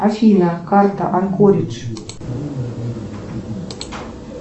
афина карта анкоридж